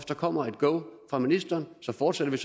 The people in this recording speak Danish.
der kommer et go fra ministeren fortsætter vi